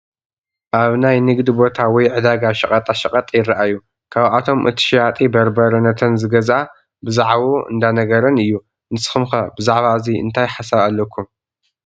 ኣብ ናይ ንግዲ ቦታ ወይ ዕዳጋ ሸቐጣሸቐጥ ይራኣዩ፡፡ ካብኣቶም እቲ ሸያጢ በርበረ ነተን ዝገዝኣ ብዛዕብኡ እንዳነገረን እዩ፡፡ ንስኹም ከ ብዛዕባ እዚ እንታይ ሓሳብ ኣለኩም?